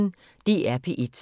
DR P1